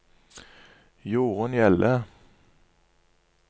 Jorunn Hjelle